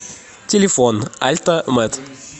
телефон альта мет